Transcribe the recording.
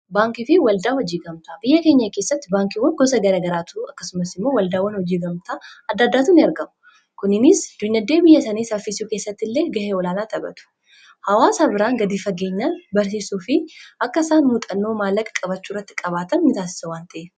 baankii fi waldaa hojiigamtaa biyya keenyaa keessatti baankiiwan gosa gara garaatuu akkasumas immoo waldaawwan hojii gamtaa addaaddaatuuin ergamu kuninis duynaddee biyya sanii saffiisuu keessatti illee gahee olaanaa taphatu hawaasa biraan gadii fageenyan barsiisuu fi akka isaan muuxannoo maallaqa-qabachuurratti qabaatan mitaasisawwan ta'e